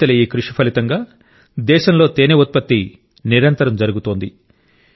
రైతుల ఈ కృషి ఫలితంగా దేశంలో తేనె ఉత్పత్తి నిరంతరం పెరుగుతోంది